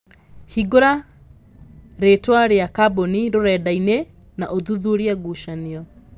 Hingura rĩtwa rĩa kambũni rũrenda ĩnĩ na ũthuthurie ngucanio